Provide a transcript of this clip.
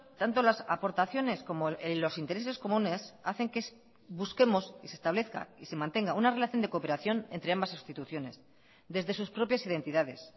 tanto las aportaciones como los intereses comunes hacen que busquemos y se establezca y se mantenga una relación de cooperación entre ambas instituciones desde sus propias identidades